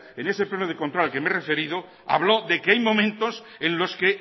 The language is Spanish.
en ese pleno de control al que me he referido habló de que hay momentos en los que